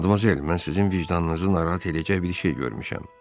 Modmazel, mən sizin vicdanınızı narahat eləyəcək bir şey görmüşəm.